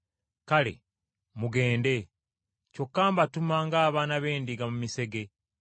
Kale, mugende. Kyokka mbatuma ng’abaana b’endiga mu misege.